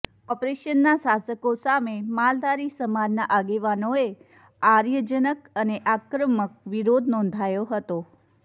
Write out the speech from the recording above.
કોર્પોરેશનના શાસકો સામે માલધારી સમાજના આગેવાનોએ આૃર્યજનક અને આક્રમક વિરોધ નોંધાવ્યો હતો